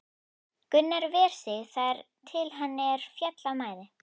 Gunnar ver sig þar til er hann féll af mæði.